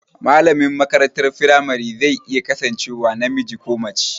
Malamin makarantar firamare zai iya kasancewa namiji ko mace